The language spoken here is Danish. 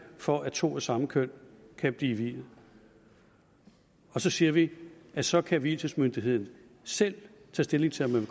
for at to af samme køn kan blive viet og så siger vi at så kan vielsesmyndigheden selv tage stilling til om man